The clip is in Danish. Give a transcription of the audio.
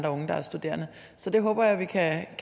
unge der er studerende så det håber jeg vi kan